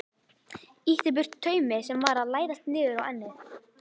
Ýtti burtu taumi sem var að læðast niður á ennið.